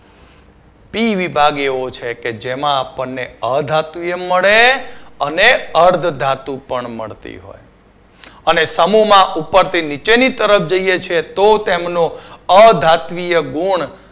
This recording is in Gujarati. B વિભાગ એવો છે કે જેમાં આપણને અધાતુએ મળે અને અધાતુ પણ મળતી હોય છે અને સમુહમાં ઉપરથી નીચેની તરફ જઈએ છે તો તેમનો અધાત્મિય ગુણ